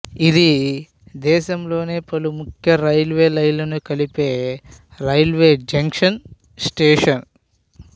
ఇది దేశంలోని పలు ముఖ్య రైల్వే లైన్లను కలిపే రైల్వే జంక్షన్ స్టేషను